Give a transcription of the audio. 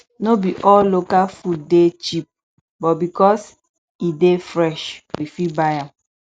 no be all local food dey cheap but because e dey fresh we fit buy am